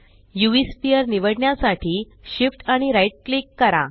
UV sphere निवडण्यासाठी Shift आणि right click करा